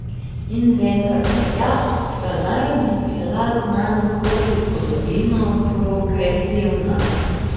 In vendar velja, da naj bi bila znanost skozi zgodovino progresivna.